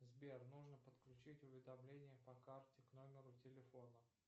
сбер нужно подключить уведомление по карте к номеру телефона